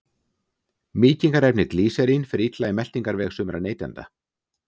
Mýkingarefnið glýserín fer illa í meltingarveg sumra neytenda.